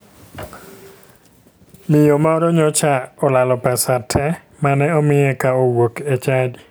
Miyo moro nyocha olalo pesa te mane omiye ka owuok e chadi.